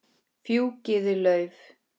Hann er gamall maður.